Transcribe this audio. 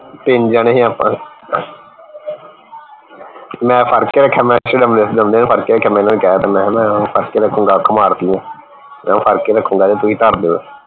ਤਿੰਨ ਜਣੇ ਸੀ ਆਪਾਂ ਮੈਂ ਫੜ ਕੇ ਰਖਿਆ ਮੈਂ ਫੜ ਕੇ ਰਖਿਆ ਮੈਂ ਓਹਨੂੰ ਕਹਿ ਤਾ ਮੈਂ ਕਿਹਾ ਨਾ ਫੜ ਕੇ ਰਖੂੰਗਾ ਅੱਖ ਮਾਰਤੀ ਹੈ ਮੈਂ ਫੜ ਕੇ ਰਖੂੰਗਾ ਤੇ ਤੁਸੀਂ ਧਰ ਦੀਓ